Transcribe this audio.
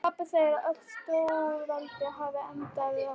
Pabbi segir að öll stórveldi hafi endað í rústum.